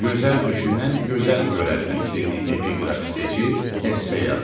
Gözəl düşünən gözəl görər fikrini epiqraf seçib esse yazın.